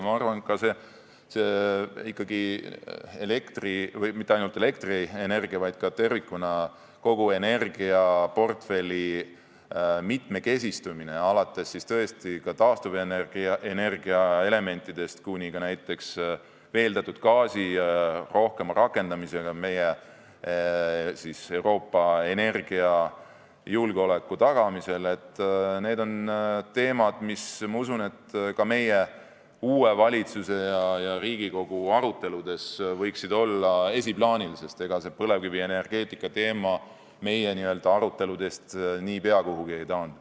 Ma arvan, et ka elektrienergia- ja tervikuna kogu energiaportfelli mitmekesistumine, alates taastuvenergiaelementidest kuni näiteks veeldatud gaasi rohkema rakendamiseni Euroopa energiajulgeoleku tagamisel, on teema, mis, ma usun, ka meie uue valitsuse ja Riigikogu aruteludes võiks olla esiplaanil, sest ega see põlevkivienergeetika teema meie aruteludest niipea kuhugi ei taandu.